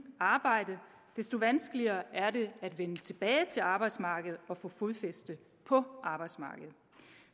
arbejde desto vanskeligere er det at vende tilbage til arbejdsmarkedet og få fodfæste på arbejdsmarkedet